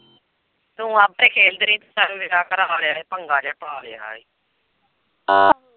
ਤੂੰ ਆਪੇ ਖੇਲਦੀ ਰਹੀ ਚੱਲ ਵਿਆਹ ਕਰਵਾਂ ਲਿਆ ਏ ਪੰਗਾ ਜਿਹਾ ਪਾ ਲਿਆ ਏ।